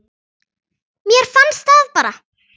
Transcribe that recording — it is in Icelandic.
Mér fannst það bara.